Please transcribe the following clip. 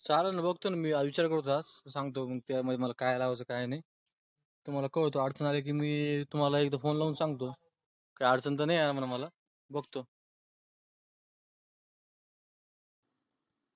चलन ना बगतो. मी विचार करतो आज. मग सांगतो त्यामध्ये मला काय लावयच काय नाय. तुम्हाला कळवतो आठ पंधरा दिवस झाले कि phone लावून सांगतो. काय अडचण तर नाय ये म्हणा मला बघतो.